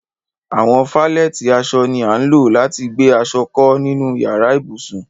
Àwọn falẹ̀tí àṣọ ni à ńlọ̀ lati gbẹ aṣọ̀ kọ ninu yàrà-íbusùn.